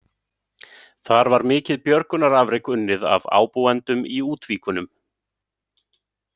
Þar var mikið björgunarafrek unnið af ábúendum í Útvíkunum.